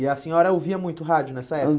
E a senhora ouvia muito rádio nessa